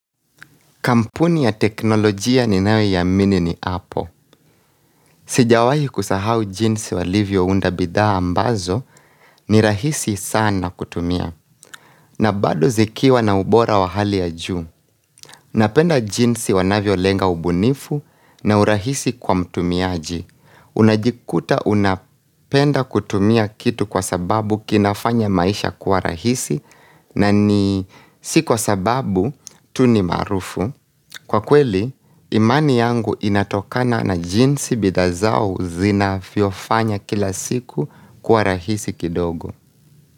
Kampuni ya teknolojia ninayoamini ni Apple. Sijawahi kusahau jinsi walivyo unda bidhaa ambazo ni rahisi sana kutumia. Na bado zikiwa na ubora wa hali ya juu. Napenda jinsi wanavyolenga ubunifu na urahisi kwa mtumiaji. Unajikuta unapenda kutumia kitu kwa sababu kinafanya maisha kwa rahisi na ni si kwa sababu tu ni maarufu. Kwa kweli, imani yangu inatokana na jinsi bidhaa zao zinavyofanya kila siku kwa rahisi kidogo.